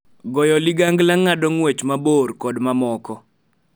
Goyo ligangla, ng�ado ng�wech mabor, kod mamoko.